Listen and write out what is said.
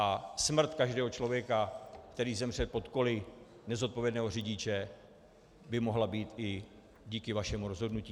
A smrt každého člověka, který zemře pod koly nezodpovědného řidiče, by mohla být i díky vašemu rozhodnutí.